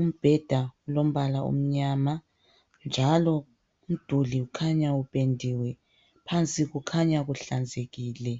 Umbeda ulombala omyama njalo umduli kukhanya uphendiwe, phansi kukhanya kuhlanzekile.